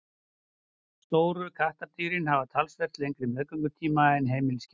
stóru kattardýrin hafa talsvert lengri meðgöngutíma en heimiliskettir